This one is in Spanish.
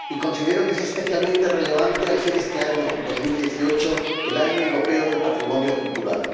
Y considero que es especialmente relevante al ser este año, 2018, el Año Europeo del Patrimonio Cultural.